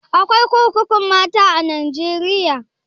Akwai kurkukun mata a najeriya?